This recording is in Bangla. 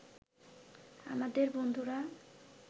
আমাদের বন্ধুরা